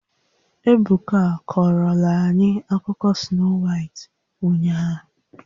Ebuka a kọrọla anyị akụkọ Snoo Waịt ụnyahụ